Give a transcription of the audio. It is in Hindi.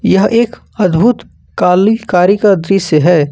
यह एक अद्भुत काली कारी का दृश्य है।